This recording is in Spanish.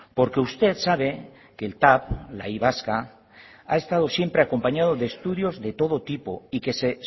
porque usted sabe que el tav la y vasca ha estado siempre acompañado de estudios de todo tipo y que se